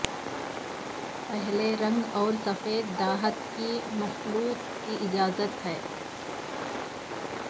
پیلے رنگ اور سفید دھات کی مخلوط کی اجازت ہے